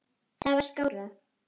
Það var skárra.